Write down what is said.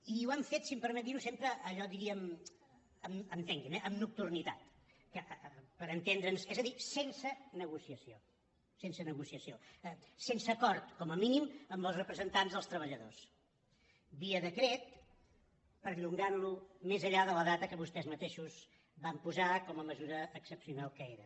i ho han fet si em permeten dir·ho sempre allò diríem entenguin·me eh amb nocturnitat per entendre’ns és a dir sen·se negociació sense negociació sense acord com a mínim amb els representants dels treballadors via decret perllongant·lo més enllà de la data que vostès mateixos van posar com a mesura excepcional que era